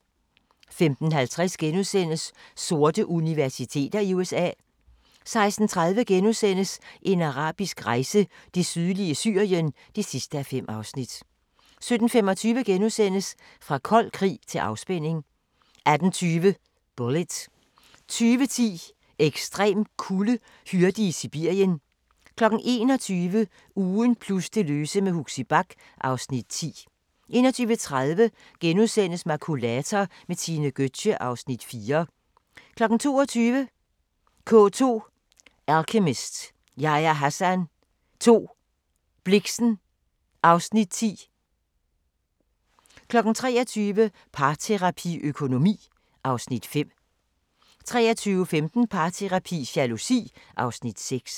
15:50: Sorte universiteter i USA * 16:30: En arabisk rejse: Det sydlige Syrien (5:5)* 17:25: Fra kold krig til afspænding * 18:20: Bullitt 20:10: Ekstrem kulde: hyrde i Sibirien 21:00: Ugen plus det løse med Huxi Bach (Afs. 10) 21:30: Makulator med Tine Gøtzsche (Afs. 4)* 22:00: K2 – Alchemist, Yahya Hassan 2, Blixen (Afs. 10) 23:00: Parterapi – Økonomi (Afs. 5) 23:15: Parterapi – Jalousi (Afs. 6)